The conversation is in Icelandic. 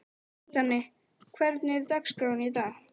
Danni, hvernig er dagskráin í dag?